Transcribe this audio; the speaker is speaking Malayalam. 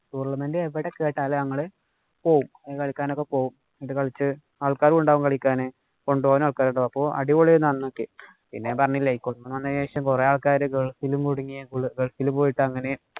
Tournament എവിടെക്കേട്ടാലും ഞങ്ങള് പോവും. ഇത് കളിച്ചു ആള്‍ക്കാരും ഉണ്ടാകും കളിക്കാന്. കൊണ്ടുപോകാനും ആള്‍ക്കാര് ഉണ്ടാകും. അടിപൊളി ആയിരുന്നു അന്നൊക്കെ. പിന്നെ പറഞ്ഞില്ലേ കൊറോണയ്ക്ക് ശേഷം കൊറേ ആള്‍ക്കാര് ഗള്‍ഫിലും കുടുങ്ങിയേ. ഗള്‍ഫില് പോയിട്ട് അങ്ങനെ